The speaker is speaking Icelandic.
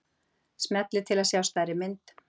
smellið til að sjá stærri mynd